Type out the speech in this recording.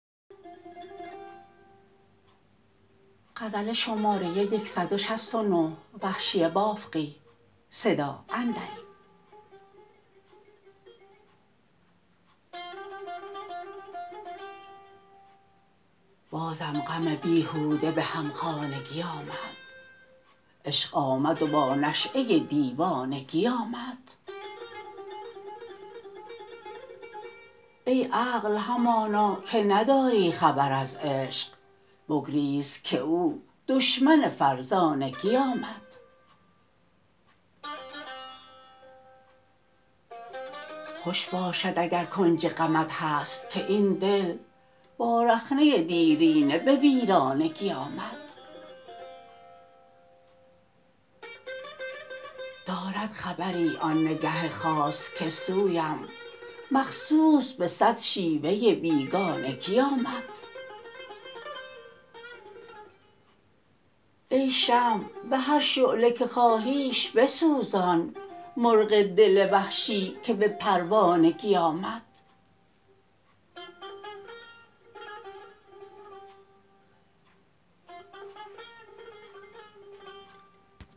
بازم غم بیهوده به همخانگی آمد عشق آمد و با نشأه دیوانگی آمد ای عقل همانا که نداری خبر از عشق بگریز که او دشمن فرزانگی آمد خوش باشد اگر کنج غمت هست که این دل با رخنه دیرینه به ویرانگی آمد دارد خبری آن نگه خاص که سویم مخصوص به سد شیوه بیگانگی آمد ای شمع به هر شعله که خواهیش بسوزان مرغ دل وحشی که به پروانگی آمد